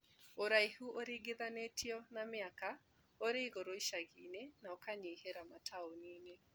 Ũraihu ũringithanĩtie na mĩaka ũringithanitie na mĩaka ũrĩ igũrũ icagi inĩ na ũkanyihĩra mataũni inĩ